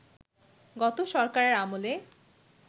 গত সরকারের আমলে